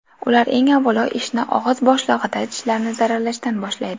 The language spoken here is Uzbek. Ular, eng avvalo, ishni og‘iz bo‘shlig‘ida tishlarni zararlashdan boshlaydi.